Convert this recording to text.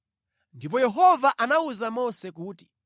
Ndipo Yehova anawuza Mose kuti,